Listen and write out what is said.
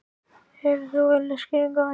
Hefur þú einhverja skýringu á því?